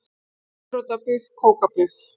Gulrótarbuff kókapuff.